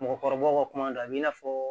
Mɔgɔkɔrɔbaw ka kuma don a b'i n'a fɔ